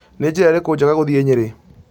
nĩ njĩra ĩriku njega gũthiĩ nyeri